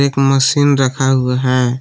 एक मशीन रखा हुआ है।